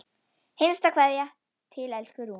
HINSTA KVEÐJA Til elsku Rúnu.